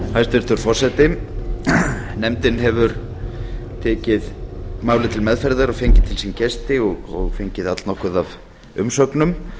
hæstvirtur forseti nefndin hefur tekið málið til meðferðar og fengið til sín gesti og fengið allnokkuð af umsögnum